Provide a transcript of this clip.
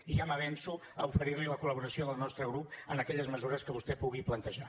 i ja m’avenço a oferir li la col·laboració del nostre grup en aquelles mesures que vostè pugui plantejar